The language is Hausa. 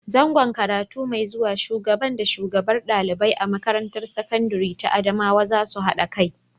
Zango karatu mai zuwa Shubagan da shugabar ɗalibai a makarantar sakandire ta Adamawa za su haɗa kai.